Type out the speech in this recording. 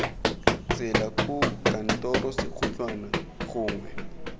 tsela koo kantoro sekhutlhwana gongwe